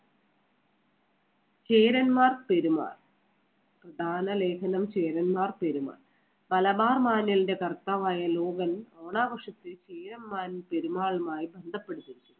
ചേരന്മാർ പെരുമാൾ. ദാന ലേഖനം ചേരന്മാർ പെരുമാൾ മലബാർ മാനുവലിന്‍റെ കർത്താവായ ലോഗൻ ഓണാഘോഷത്തെ ചേരന്മാരും പെരുമാൾമാരും ബന്ധപ്പെടുത്തുന്നു.